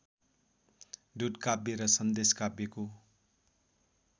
दूतकाव्य वा सन्देशकाव्यको